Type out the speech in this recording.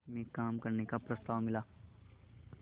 में काम करने का प्रस्ताव मिला